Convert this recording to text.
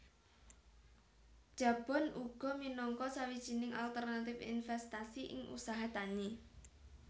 Jabon uga minangka sawijining alternatif investasi ing usaha tani